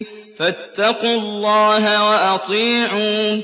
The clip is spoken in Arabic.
فَاتَّقُوا اللَّهَ وَأَطِيعُونِ